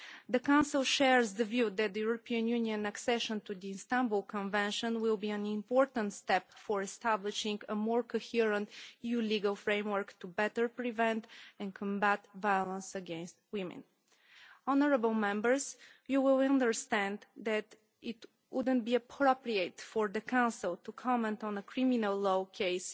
The Council shares the view that the European Union's accession to the Istanbul Convention will be an important step towards establishing a more coherent new legal framework to better prevent and combat violence against women. Honourable Members, you will understand that it wouldn't be appropriate for the Council to comment on a criminal law case,